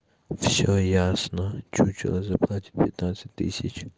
все ясно чучело заплатит пятнадцать тысяч